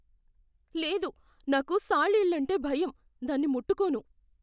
లేదు! నాకు సాలీళ్ళంటే భయం. దాన్ని ముట్టుకోను.